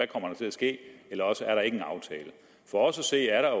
kommer til at ske eller også er der ikke en aftale for os at se er der